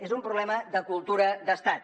és un problema de cultura d’estat